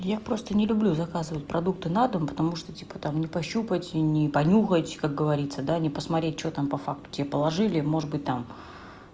я просто не люблю заказывать продукты на дом потому что типа там не пощупать и не понюхайте как говорится да не посмотреть что там по факту тебе положили может быть там